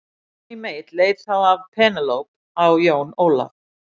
Johnny Mate leit þá af Penélope á Jón Ólaf.